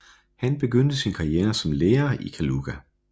Han begyndte sin karriere som lærer i Kaluga